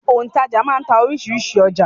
Òǹtajà máa ń ta oríṣiríṣi ọjà.